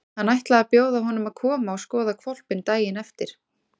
Hann ætlaði að bjóða honum að koma og skoða hvolpinn daginn eftir.